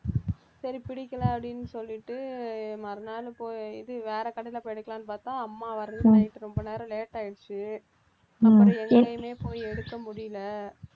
சரி பிடிக்கலை அப்படின்னு சொல்லிட்டு மறுநாள் போய் இது வேற கடையிலெ போய் எடுக்கலான்னு பார்த்தா அம்மா வர்றதுக்கு night ரொம்ப நேரம் late ஆயிடுச்சு அப்புறம் எங்கேயுமே போய் எடுக்க முடியலை